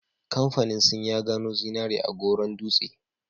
Kamfanin sin ya gano zinari a Goron Dutse